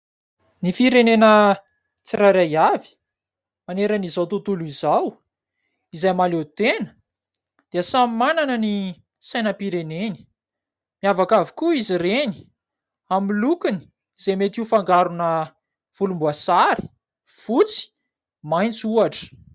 Ny firenena tsirairay avy manerana izao tontolo izao izay mahaleo tena dia samy manana ny sainam-pireneny. Miavaka avokoa izy reny amin'ny lokony izay mety ho fangarona volomboasary, fotsy, maitso ohatra.